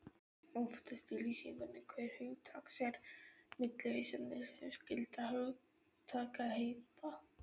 Aftast í lýsingu hvers hugtaks eru millivísanir til skyldra hugtakaheita.